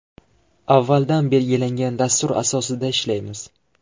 Avvaldan belgilangan dastur asosida ishlaymiz.